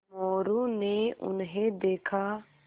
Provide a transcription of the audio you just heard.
मोरू ने उन्हें देखा